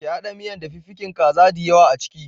Ki haɗa miyan da fiffikin kaza diyawa a ciki.